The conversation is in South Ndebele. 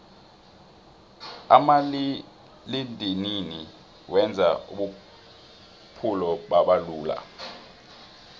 umaliledinini wenze ubuphulo babalula